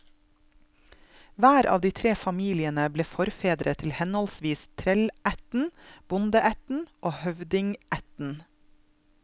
Hver av de tre familiene ble forfedre til henholdsvis trellætten, bondeætten og høvdingætten.